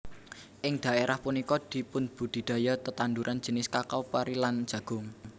Ing dhaerah punika dipunbudidaya tetanduran jinis kakao pari lan jagung